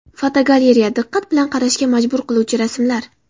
Fotogalereya: Diqqat qilib qarashga majbur qiluvchi rasmlar.